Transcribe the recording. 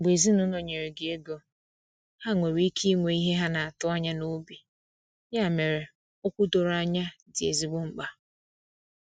Mgbe ezinụlọ nyere gị ego, ha nwere ike inwe ihe ha atụ anya n’obi, ya mere, okwu doro anya dị ezigbo mkpa.